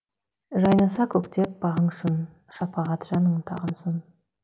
жайнаса көктеп бағың шын шапағат жаның тағынсын